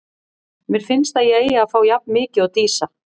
Mér finnst að ég eigi að fá jafn mikið og Dísa.